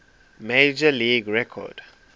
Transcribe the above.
major league record